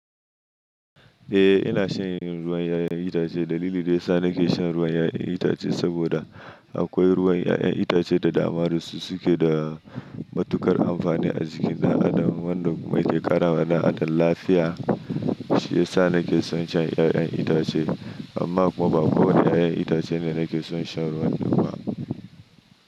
Eh ina shan ruwan 'ya'yan itace. Dalili da yasa nake shan ruwan 'ya'yan itace saboda akwai ruwan 'ya'yan itace da dama da su suke da matuƙar amfani a jikin ɗan adam. Wanda yake ƙara wa ɗan adam lafiya, shi ya sa nake son shan 'ya'yan itace. Amma kuma ba ko wane 'ya'yan itace ne nake son sha ba duka.